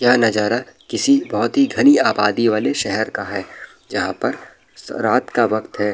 यह नजारा किसी बहुत ही घनी आबादी वाली शहर का है जहाँ पर रात का वक़्त है।